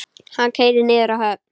Hann keyrir niður að höfn.